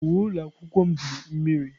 Uwe ụlọ akwụkwọ m dị mmiri.